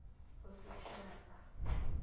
bosetšhaba